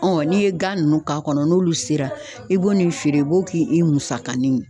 n'i ye gan nunnu k'a kɔnɔ, n'olu sera i b'o n'i feere i b'o k'i musakanin ye.